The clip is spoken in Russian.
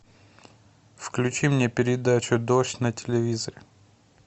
включи мне передачу дождь на телевизоре